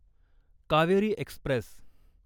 Kaveri Express